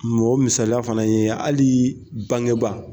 Mɔgɔ misaliya fana ye hali bangeba